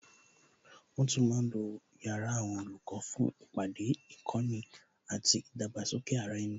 Wọn tún ma ń lo yàrá àwọn olùkọ́ fún ìpàdé, ìkọ́ni àti ìdàgbàsókè ara ẹni